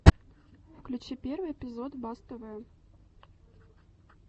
включи первый эпизод бас тв